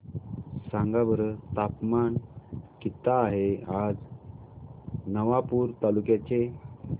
सांगा बरं तापमान किता आहे आज नवापूर तालुक्याचे